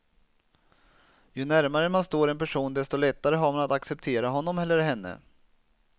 Ju närmare man står en person desto lättare har man att acceptera honom eller henne.